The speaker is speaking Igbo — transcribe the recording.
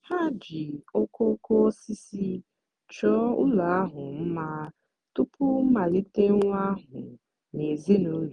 ha ji okooko osisi chọọ ụlọ ahụ mma tupu mmalite nwata ahụ na ezinụlọ.